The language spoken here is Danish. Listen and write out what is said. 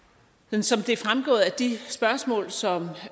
som det er fremgået af de spørgsmål som